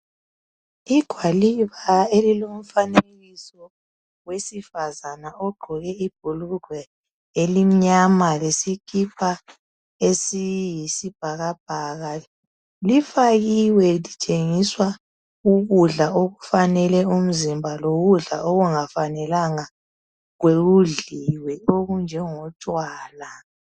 Igwaliba elilomfanekiso wesifazane ogqoke ibhulugwe elimnyama lesikipa esiyibhakabhaka lifakiwe litshengisa ukudla okufanele umzimba lokudla okungafanelanga kudliwe okunjengotshwala.